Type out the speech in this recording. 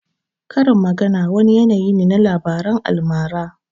Karin magana wani yanayi ne na labaran almara